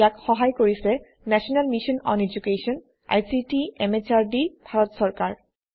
ইয়াক সহাই কৰিছে national mission on educational ICT MHRD Bharat চৰকাৰ